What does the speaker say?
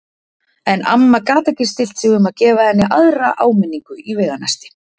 En amma gat ekki stillt sig um að gefa henni aðra áminn- ingu í veganesti.